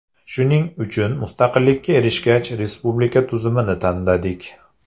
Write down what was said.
Shuning uchun mustaqillikka erishgach, respublika tuzumini tanladik.